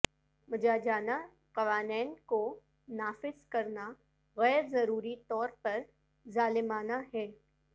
مجاجانا قوانین کو نافذ کرنا غیر ضروری طور پر ظالمانہ ہے